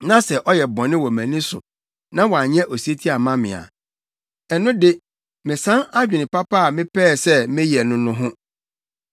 na sɛ ɔyɛ bɔne wɔ mʼani so na wanyɛ osetie amma me a, ɛno de mesan adwene papa a mepɛɛ sɛ meyɛ no no ho.